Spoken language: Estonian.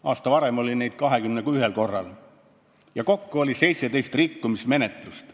Aasta varem oli neid 21 ja kokku oli 17 rikkumismenetlust.